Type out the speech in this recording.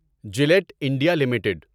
Gillette India limited